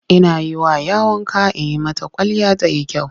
Ina yi wa 'ya wanka in yi mata kwalliya ta yi kyau.